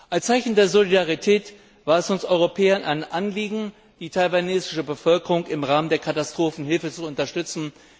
Als Zeichen der Solidarität war es uns Europäern ein Anliegen, die taiwanesische Bevölkerung im Rahmen der Katastrophenhilfe zu unterstützen.